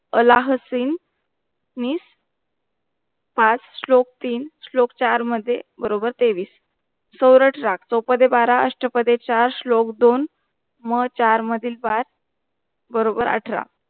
होला हसीन निस पांच श्लोक तीन श्लोक चार मध्ये बरोबर ठेवीस सवरत राग सौपथे बारा असतपधे चार श्लोक दो मेह चार महा पहा बरॊबर सत्र.